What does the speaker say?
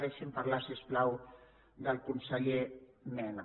deixi’m parlar si us plau del conseller mena